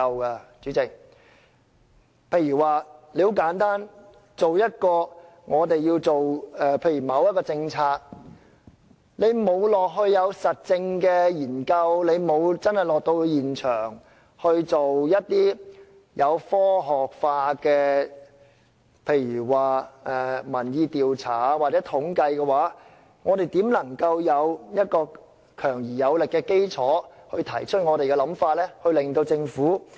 代理主席，很簡單，例如我們要提出一項政策，如果我們沒有到過現場進行實證研究和科學化的民意調查或統計，我們怎會有強而有力的基礎提出我們的想法，從而說服政府？